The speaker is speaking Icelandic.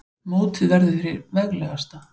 Mótið verður hið veglegasta